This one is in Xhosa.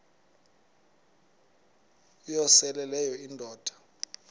uyosele leyo indoda